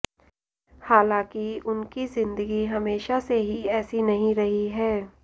हालाँकि उनकी ज़िन्दगी हमेशा से ही ऐसी नहीं रही है